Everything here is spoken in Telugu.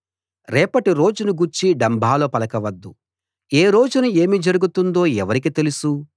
రేపటి రోజును గూర్చి డంబాలు పలక వద్దు ఏ రోజున ఏమి జరుగుతుందో ఎవరికి తెలుసు